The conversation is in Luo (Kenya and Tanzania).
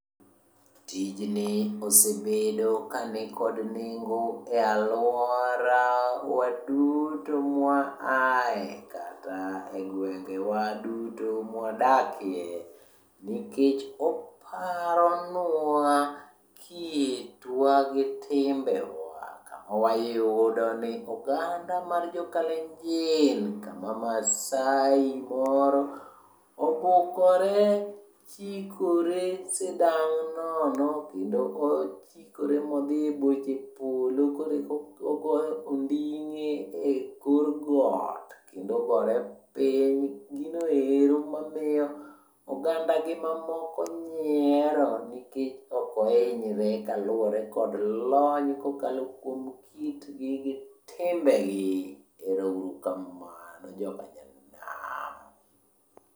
Tijni osebedo kanikod nengo e alwora waduto mwa ae kata e gwengewa duto mwadake. Nikech oparonwa kitwa gi timbewa, kama wayudo ni oganda mar jo Kalenjin, kama Maasai moro obukore chikore sidang' nono. Kendo ochikore modhiye boche polo koreka ogoyo onding'e e kor got kendo ogore piny. Ginoero mamiyo ogandagi mamoko nyiero nikech okohinyre kaluwore kod lony kokalo kuom kitgi gi timbegi. Ero uru kamano jokanyanam.